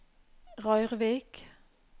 Røyrvik